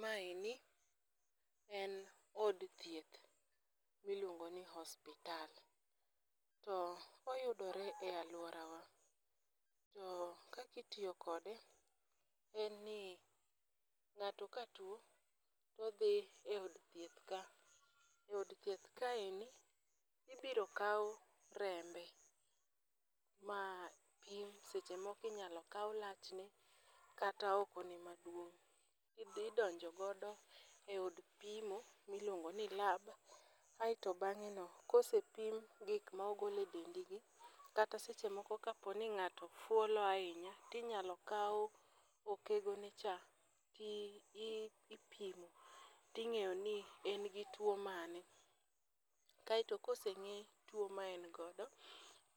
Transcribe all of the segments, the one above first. Maeni en od thieth miluongo ni osiptal. Oyudore e aluorawa to kaka itiyo kode en ni ng'ato katuo to odhi eod thieth ka, od thieth kaeni idhi yudo kaw rembe mantie seche moko inyalo kaw lachne kata okone maduong' to idhi idonjo godo eod pimo miluongo ni lab, aeto bang'eno kosepim gik mogol e dendigi kata seche moko kapo ni ng'ato fuolo ahinya to inyalo kaw okegone cha to idhi ipimo toing'iyo ni en gi tuo mane. Kaeto ka oseng'e tuo ma en godo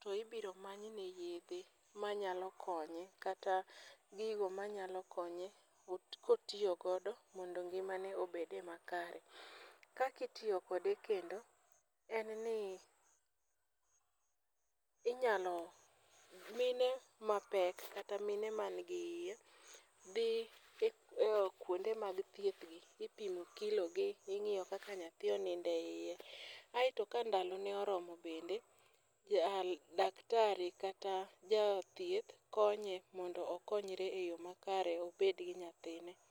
to ibiro many ne yedhe manyalo konye kata gigo manyalo konye kotiyo godo mondo ngimane obedie makare. Kaka itiyo kode kendo en ni inyalo mine mapek kata mine mani gi iye dhi kuonde mag thiethgi ipimo kilogi, ing'iyo kaka nyathi onindo eiye. Ae to ka ndalone ochopo daktari kata ja thieth konye mondo okonyre eyo makare obed gi nyathine.